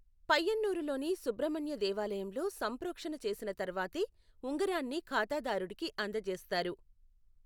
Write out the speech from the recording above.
పయ్యన్నూరులోని సుబ్రమణ్య దేవాలయంలో సంప్రోక్షణ చేసిన తర్వాతే ఉంగరాన్ని ఖాతాదారుడికి అందజేస్తారు.